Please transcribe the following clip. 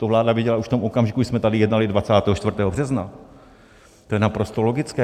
To vláda věděla už v tom okamžiku, kdy jsme tady jednali 24. března, to je naprosto logické.